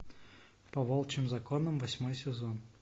по волчьим законам восьмой сезон